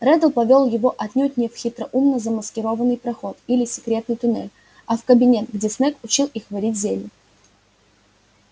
реддл повёл его отнюдь не в хитроумно замаскированный проход или секретный тоннель а в тот кабинет где снегг учил их варить зелья